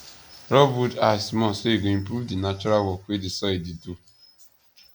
rob wood ash small so e go improve the natural work wey di soil dey do